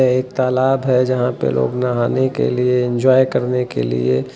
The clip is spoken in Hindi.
यह एक तालाब है जहां पे लोग नहाने के लिए इंजॉय करने के लिए--